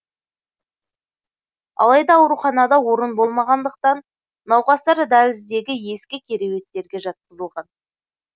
алайда ауруханада орын болмағандықтан науқастар дәліздегі ескі кереуеттерге жатқызылған